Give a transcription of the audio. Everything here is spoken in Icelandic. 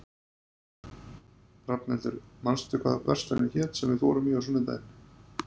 Rafnhildur, manstu hvað verslunin hét sem við fórum í á sunnudaginn?